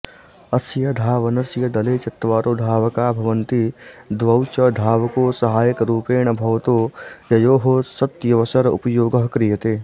अस्य धावनस्य दले चत्वारो धावका भवन्ति द्वौच धावकौ सहायकरुपेण भवतो ययोः सत्यवसर उपयोगः क्रियते